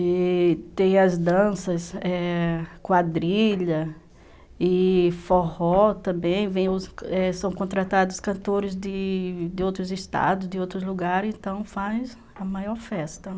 E... tem as danças, quadrilha e forró também, são contratados cantores de outros estados, de outros lugares, então faz a maior festa.